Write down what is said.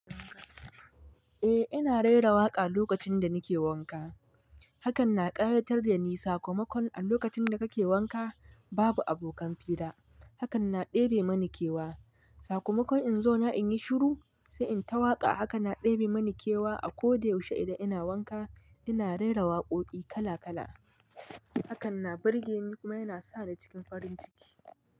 Eh ina rera waƙa a lokacin da nake wanka. Hakan na ƙayatar da ni sakamakon a lokacin da kake wanka babu abokan fira. Hakan na ɗebe mani kewa. Sakamakon in zo na in yi shiru sai in ta waƙa haka na ɗebe mani kewa. A ko da yaushe idan ina wanka ina rera waƙoƙi kala kala. Hakan na birge ni kuma yana sa ni cikin farin ciki.